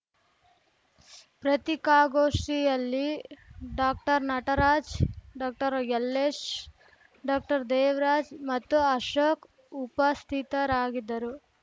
ಪ್ರತೀಕಾಗೋಷ್ಠಿಯಲ್ಲಿ ಡಾಕ್ಟರ್ನಟರಾಜ್‌ ಡಾಕ್ಟರ್ಯಲ್ಲೇಶ್‌ ಡಾಕ್ಟರ್ದೇವರಾಜ್‌ ಮತ್ತು ಅಶೋಕ್‌ ಉಪಸ್ಥಿತರಾಗಿದ್ದರು